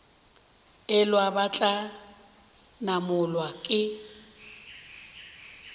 elwa ba tla namolwa ke